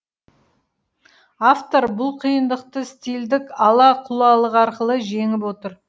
автор бұл қиындықты стильдік ала құлалық арқылы жеңіп отыр